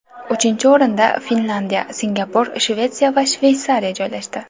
Uchinchi o‘rinda Finlandiya, Singapur, Shvetsiya va Shveysariya joylashdi.